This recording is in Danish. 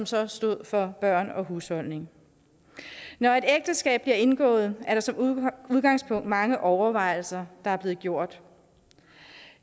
så stod for børn og husholdning når et ægteskab bliver indgået er der som udgangspunkt mange overvejelser der er blevet gjort